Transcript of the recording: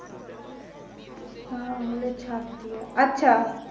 আঙুলের ছাপ দিয়ে আচ্ছা